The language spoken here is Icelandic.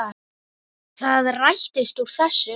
Það rættist úr þessu.